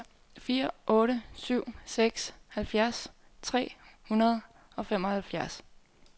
fire otte syv seks halvfjerds tre hundrede og femoghalvfjerds